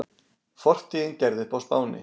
Fortíðin gerð upp á Spáni